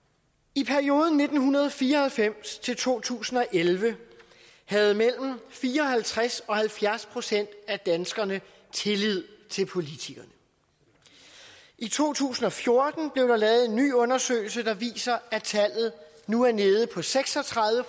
i perioden nitten fire og halvfems til to tusind og elleve havde mellem fire og halvtreds og halvfjerds procent af danskerne tillid til politikerne i to tusind og fjorten blev der lavet en ny undersøgelse der viste at tallet nu er nede på seks og tredive